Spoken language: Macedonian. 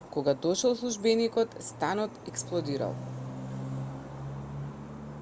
кога дошол службеникот станот експлодирал